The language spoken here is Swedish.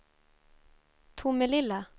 Tomelilla